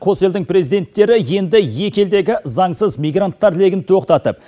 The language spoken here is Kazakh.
қос елдің президенттері енді екі елдегі заңсыз мигранттар легін тоқтатып